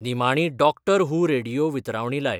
निमाणी डॉक्टर हू रेडीयो वितरावणी लाय